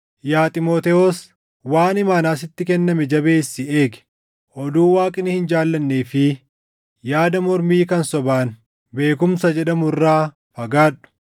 Yaa Xiimotewos, waan imaanaa sitti kenname jabeessii eegi. Oduu Waaqni hin jaallannee fi yaada mormii kan sobaan “Beekumsa” jedhamu irraa fagaadhu;